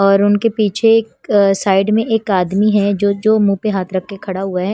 और उनके पीछे एक अ साइड में एक आदमी है जो जो मुंह पे हाथ रखके खड़ा हुआ है।